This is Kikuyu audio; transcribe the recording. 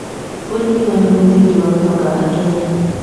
ũrĩmi warĩ mũthingi wa ũtonga wa Kenya.